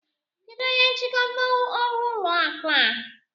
Kedụ onye nchịkọta ọrụ ụlọ akụ a?